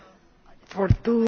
Frau Präsidentin!